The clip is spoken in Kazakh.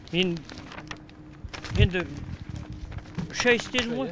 мен енді үш ай істедім ғой